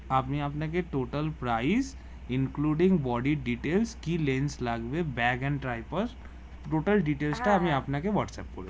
আমি আপনাকে total price including body details কি লেন্স লাগবে back and tripods total details টা আমি আপনাকে হোয়াটস এপ করে দি